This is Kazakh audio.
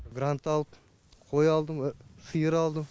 грант алып қой алдым сиыр алдым